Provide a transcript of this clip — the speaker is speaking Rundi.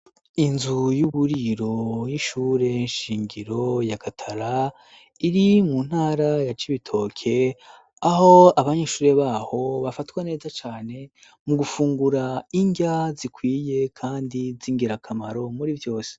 Inzu y'uburiro y'ishure nshingiro ya gatara iri mu ntara ya cibitoke aho abanyishure baho bafatwa neza cane mu gufungura indya zikwiye, kandi zingirakamaro muri vyose.